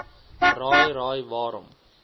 raai raai waarom